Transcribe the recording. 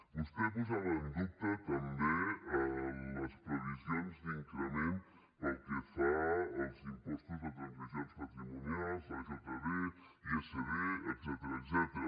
vostè posava en dubte també les previsions d’increment pel que fa als impostos de transmissions patrimonials l’ajd isd etcètera